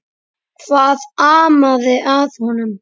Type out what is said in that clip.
Hvað amaði að honum?